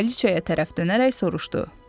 Kraliçaya tərəf dönərək soruşdu.